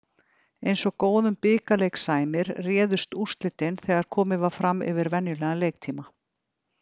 Eins og góðum bikarleik sæmir, réðust úrslitin þegar komið var fram yfir venjulegan leiktíma.